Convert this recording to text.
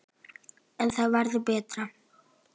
En það verður betra.